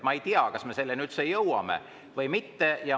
Ma ei tea, kas me üldse jõuame või mitte.